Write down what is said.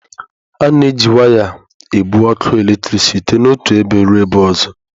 A na-eji waya ebu ọkụ eletrik site n'otu ebe ruo ebe ọzọ.